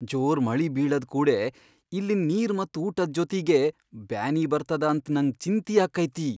ಜೋರ್ ಮಳಿ ಬೀಳದ್ ಕೂಡೆ ಇಲ್ಲಿನ್ ನೀರ್ ಮತ್ ಊಟದ್ ಜೊತೀಗೆ ಬ್ಯಾನಿ ಬರ್ತದ ಅಂತ್ ನಂಗ್ ಚಿಂತಿ ಆಕ್ಕೈತಿ.